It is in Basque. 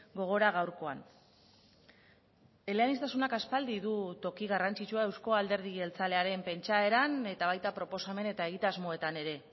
gogora gaurkoan eleaniztasunak aspaldi du toki garrantzitsua euzko alderdi jeltzalearen pentsaeran eta baita proposamen eta egitasmoetan ere